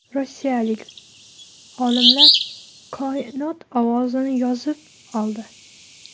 Rossiyalik olimlar Koinot ovozini yozib oldi.